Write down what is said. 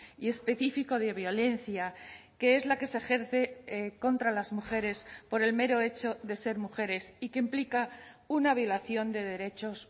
y específico de violencia que es la que se ejerce contra las mujeres por el mero hecho de ser mujeres y que implica una violación de derechos